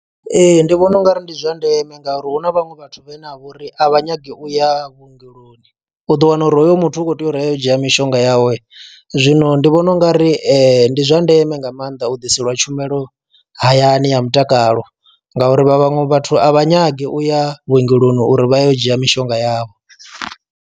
Ee ndi vhona ungari ndi zwa ndeme ngauri hu na vhaṅwe vhathu vhe ne a vha uri a vha nyagi u ya vhuongeloni u ḓo wana uri hoyo muthu u kho tea uri a yo u dzhia mishonga yawe, zwino ndi vhona ungari ndi zwa ndeme nga maanḓa u ḓiselwa tshumelo hayani ya mutakalo ngauri vha vhaṅwe vhathu a vha nyagi u ya vhuongeloni uri vha yo u dzhia mishonga yavho.